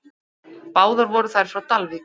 Báðar voru þær frá Dalvík.